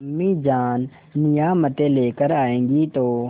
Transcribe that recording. अम्मीजान नियामतें लेकर आएँगी तो